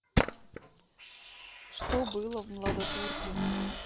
что было в младотурки